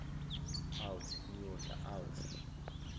out niyodla out